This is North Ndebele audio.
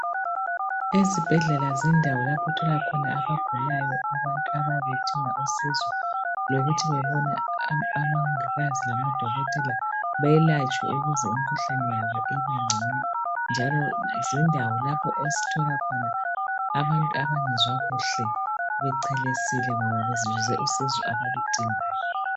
Ezibhedlela zindawo lapho othola khona abagulayo abantu ababe bedinga khona usizo lokuthi bebone omongikazi lamadokotela belatshwe ukuze imikhuhlane yabo ibengcono njalo zindawo lapho osithola khona abantu abangezwa kuhle bechelesile ngoba bezuze usizo abaludingayo.